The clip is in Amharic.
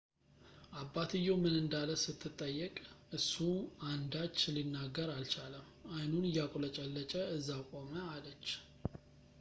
አባትየው ምን እንዳለ ስትጠየቅ እሱ አንዳች ሊናገር አልቻለም አይኑን እያቁለጨለጨ እዛው ቆመ አለች